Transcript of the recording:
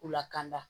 U lakanda